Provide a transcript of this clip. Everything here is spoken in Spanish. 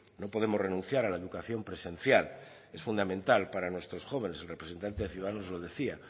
no podemos renunciar a la educación presencial es fundamental para nuestros jóvenes el representante de ciudadanos lo decía